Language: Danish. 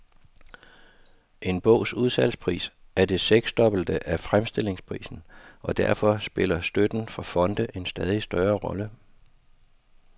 En bogs udsalgspris er det seksdobbelte af fremstillingsprisen, og derfor spiller støtten fra fonde en stadig større rolle.